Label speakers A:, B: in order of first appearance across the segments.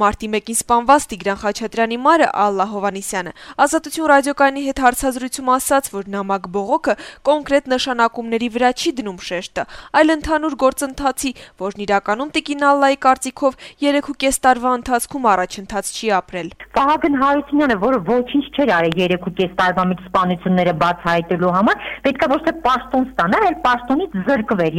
A: Մարտի 1-ին սպանված Տիգրան Խաչատրյանի մայրը` Ալլա Հովհաննիսյանը, «Ազատություն» ռադիոկայանի հետ հարցազրույցում ասաց, որ նամակ-բողոքը կոնկրետ նշանակումների վրա չի դնում շեշտը, այլ ընդհանուր գործընթացի, որն իրականում, նրա կարծիքով, 3.5 տարվա
B: ընթացքում առաջընթաց չի ապրել: «Վահագն Հարությունյանը, որը ոչինչ չէր արել 3.5 տարվա մեջ սպանությունները բացահայտելու համար, պետք է ոչ թե պաշտոն ստանար, այլ պաշտոնից զրկվեր: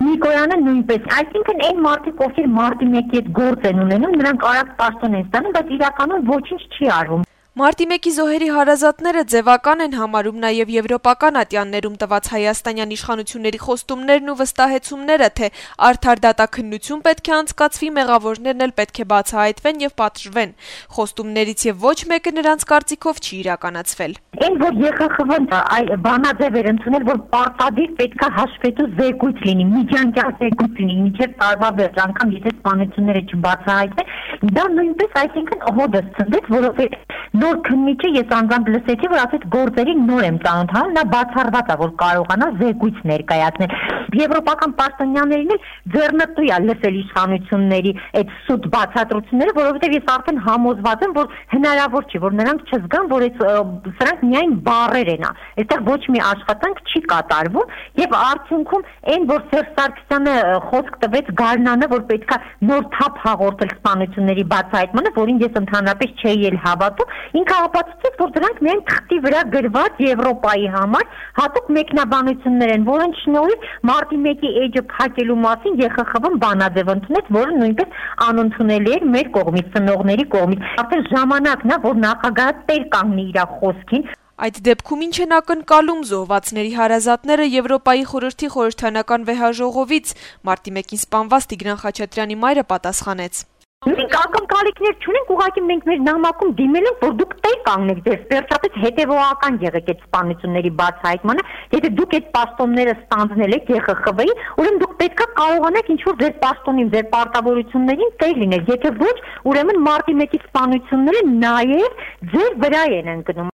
B: Նիկոյանը նույնպես: Այսինքն այն մարդիկ, ովքեր մարտի 1-ի հետ գործ են ունենում, նրանք արագ պաշտոն են ստանում, բայց իրականում ոչինչ չի արվում», -
A: ասաց Հովհաննիսյանը: Մարտի 1-ի զոհերի հարազատները ձեւական են համարում նաեւ եվրոպական ատյաններում տված Հայաստանի իշխանությունների խոստումներն ու վստահեցումները, թե արդար դատաքննություն պետք է անցկացվի, մեղավորներն էլ պետք է բացահայտվեն եւ պատժվեն: Նրանք կարծիքով, խոստումներից ոչ մեկը չի իրականացել:
B: «Այն, որ ԵԽԽՎ-ն բանաձեւ էր ընդունել, որ պարտադիր պետք է հաշվետու միջանկյալ զեկույց լինի մինչեւ տարվա վերջ, անգամ եթե սպանությունները չբացահայտվեն, դա նույնպես հօդս ցնդեց, որովհետեւ նոր քննիչը ասաց, որ գործերին նոր եմ ծանոթանում: Բացառված է, որ նա կարողանա զեկույց ներկայացնել: Եվրոպական պաշտոնյաներին էլ ձեռնտու է լսել իշխանությունների սուտ բացատրությունները, որովհետեւ ես արդեն համոզված եմ, որ հնարավոր չէ, որ նրանք չզգան, որ սրանք միայն բառեր են, որ ոչ մի աշխատանք չի կատարվում: Արդյունքում այն, որ Սերժ Սարգսյանը խոսք տվեց գարնանը, որ պետք է նոր թափ հաղորդել սպանությունների բացահայտմանը, որին ես ընդհանրապես չէի էլ հավատում, ապացուցեց, որ դրանք միայն թղթի վրա գրված, Եվրոպայի համար հատուկ մեկնաբանություններ են, որոնց շնորհիվ ԵԽԽՎ-ն մարտի 1-ի էջը փակելու մասին բանաձեւ ընդունեց, որը նույնպես անընդունել էր զոհվածների ծնողների համար: Արդեն ժամանակն է, որ նախագահը տեր կանգնի իր խոսքին»,
A: - ասաց Հովհաննիսյանը: Հարցին, թե այս պարագայում ի՞նչ են ակնկալում զոհվածների հարազատները ԵԽԽՎ-ից, Հովհաննիսյանը պատասխանեց.
B: - «Մենք ակնկալիքներ չունենք, ուղղակի մենք մեր նամակում դիմել ենք, որ դուք տեր կանգնեք, վերջապես հետեւողական եղեք այդ սպանությունների բացահայտման նկատմամբ: Եթե դուք ստանձնել եք ԵԽԽՎ-ում այդ պաշտոնները, ուրեմն դուք պետք է կարողանաք ձեր պաշտոնին, ձեր պարտավորություններին տեր լինել: Եթե ոչ, ուրեմն մարտի 1-ի սպանությունները նաեւ ձեր վրա են ընկնում»: